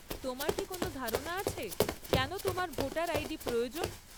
তোমার কি কোন ধারণা আছে কেন তোমার ভোটার আইডি প্রয়োজন?